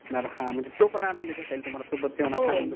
हा म्हणजे तो पण आनंद घेता येईल तुम्हाला सोबत जेवणाचा